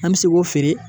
An bɛ se k'o feere